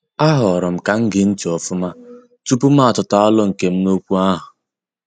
A horom kam gee ntị ofuma tupu ma atuta alo nkem n' okwu ahụ.